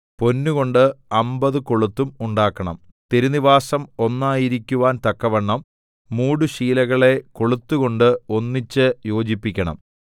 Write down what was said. പൊന്നുകൊണ്ട് അമ്പത് കൊളുത്തും ഉണ്ടാക്കണം തിരുനിവാസം ഒന്നായിരിക്കുവാൻ തക്കവണ്ണം മൂടുശീലകളെ കൊളുത്തുകൊണ്ട് ഒന്നിച്ച് യോജിപ്പിക്കണം